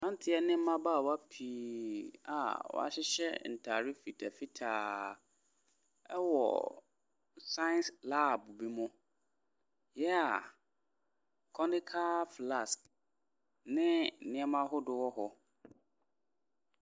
Mmeranteɛ ne mmabaawa pii a wɔahyehyɛ ntaare fitaa wɔ Science lab bi mu a conical flask ne nneɛma ahodoɔ wɔ hɔ.